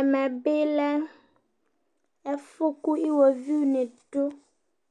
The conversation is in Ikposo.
Ɛmɛ bɩ lɛ ɛfʊ kʊ iwoviu nɩ dʊ,